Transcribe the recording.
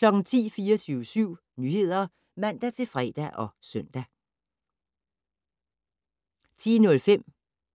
10:00: 24syv Nyheder (man-fre og søn) 10:05: